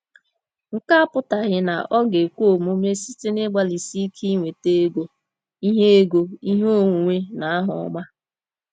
Nke a apụtaghị na ọ ga-ekwe omume site n’ịgbalịsi ike inweta ego, ihe ego, ihe onwunwe, na aha ọma.